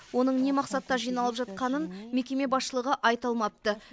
оның не мақсатта жиналып жатқанын мекеме басшылығы айта алмапты